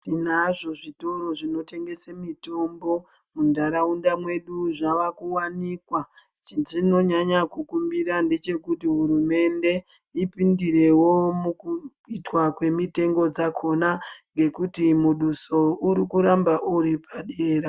Tinazvo zvitoro zvinotengese mitombo muntaraunda mwedu zvavakuvanikwa. Chezvinonyanya kukumbira ndechekuti hurumende ipindirewo mukuitwa kwemitengo dzakona ngekuti muduso urikuramba uri padera.